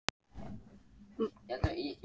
Magnús Hlynur Hreiðarsson: Og við hvað krossaðirðu?